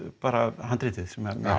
bara handritið